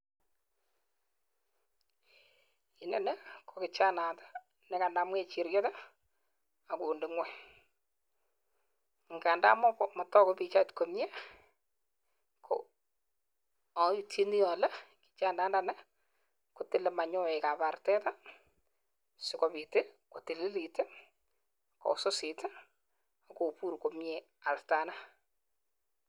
Inoni ko kichanaiyat ne kanam kejiriet, akonde ng'uny. Nganda matogu pichait komyee, ko aitchinii alee kichanaiyatndanii kotile mayoek ab artet sikobit ko tililit, kowisisit, ak kobuur komyee artanaa